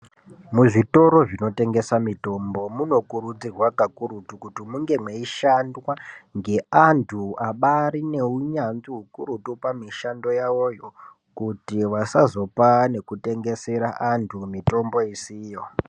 Muzvitoro zvinotengesa mitombo munokurudzirwa kakurutu kuti munge meishandwa ngeantu abarine unyanzvi hukurutu pamishando yavoyo. Kuti vasazopa nekutengesera antu mitombo isiyo.